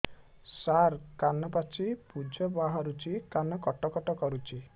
ସାର କାନ ପାଚି ପୂଜ ବାହାରୁଛି କାନ କଟ କଟ କରୁଛି